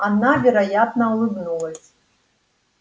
она вероятно улыбнулась